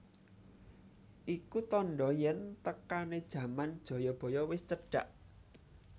Iku tandha yen tekane jaman Jayabaya wis cedhak